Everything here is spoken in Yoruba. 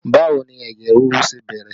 Báwo ni ẹ̀jẹ̀ ríru ṣe bẹ̀rẹ̀?